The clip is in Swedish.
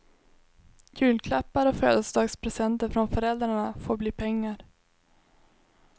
Julklappar och födelsedagspresenter från föräldrarna får bli pengar.